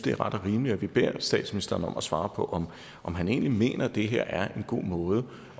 er ret og rimeligt at vi beder statsministeren om at svare på om han egentlig mener det her er en god måde